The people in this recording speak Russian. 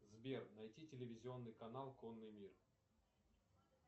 сбер найди телевизионный канал конный мир